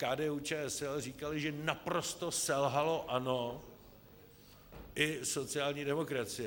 KDU-ČSL říkali, že naprosto selhalo ANO i sociální demokracie.